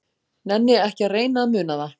Nenni ekki að reyna að muna það.